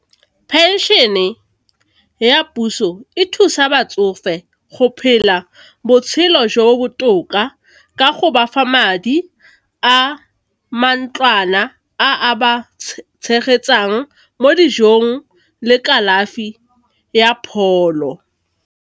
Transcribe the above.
Phenšene ya puso e thusa batsofe go phela botshelo jo bo botoka ka go bafa madi a mantlwana a ba tshegetsang mo dijong le kalafi ya pholo.